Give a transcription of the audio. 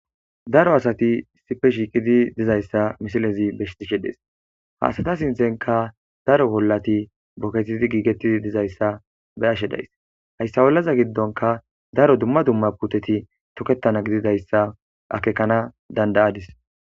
Daro asati issippe shiiqid dizaysa misilez besishe Des. Ha asata sinthenka daro olati booketid giigetid dizaysa be'ishe days , haysa olaza gidonka daro dumma dumma puteti toketana gididaysa akekana danda'adis.